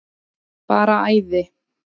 Bara æði.